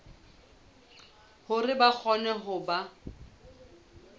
hore ba kgone ho ba